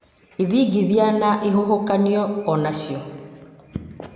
ithingithia na ihuhũkanio o nacio